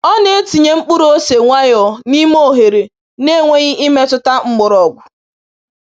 Ọ na-etinye mkpụrụ ose nwayọọ n’ime oghere na-enweghị imetụta mgbọrọgwụ.